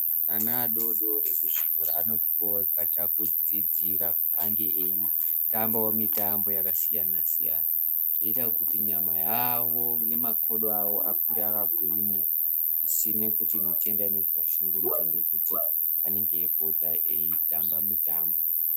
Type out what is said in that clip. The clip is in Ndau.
Ana adodori ekuzvikora anopiwao kuti apote edziidzira kuti ange ei tambawo mitambo yakasiyanasiyana, zvinoita kuti nyama yavo nemakodo awo akure akagwinya zvisina kuti mitenda inozovashungurudza nekuti anenge eipota eitambe mitambo.